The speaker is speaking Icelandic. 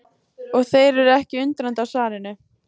Og þær eru ekkert undrandi á svarinu.